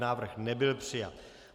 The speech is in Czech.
Návrh nebyl přijat.